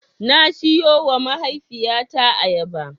Na siyowa mahaifiyata ayaba.